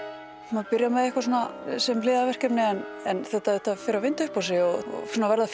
maður byrjar með eitthvað sem hliðarverkefni en þetta þetta fer að vinda upp á sig og verða